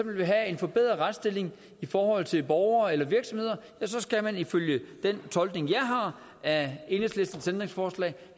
vil have en forbedret retsstilling i forhold til borgere eller virksomheder så skal man ifølge den tolkning jeg har af enhedslistens ændringsforslag